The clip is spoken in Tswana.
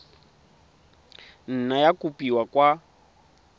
nna ya kopiwa kwa go